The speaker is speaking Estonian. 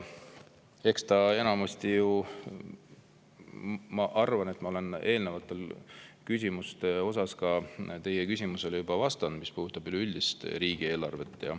Ja ma arvan, et ma olen eelnevatele küsimustele, ka teie küsimusele juba vastanud, mis puudutab üleüldiselt riigieelarvet.